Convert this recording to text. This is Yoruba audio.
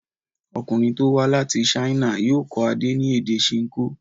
Ọkùnrin tó wá láti China yóò kọ́ Adé ní èdè Ṣinkó.